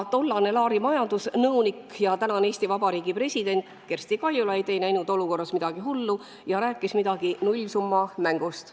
Tollane Laari majandusnõunik ja tänane Eesti Vabariigi president Kersti Kaljulaid ei näinud olukorras midagi hullu ja rääkis midagi nullsummamängust.